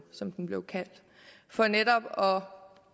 som den blev kaldt for netop